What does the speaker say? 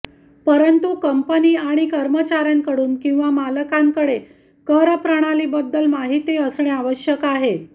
परंतु कंपनी आणि कर्मचार्यांकडून किंवा मालकांकडे करप्रणालीबद्दल माहिती असणे आवश्यक आहे